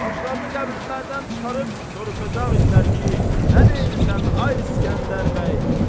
Başlarını qəbirlərdən çıxarıb soruşacaqdılar ki, nə deyirsən ay İsgəndər bəy?